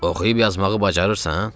Oxuyub yazmağı bacarırsan?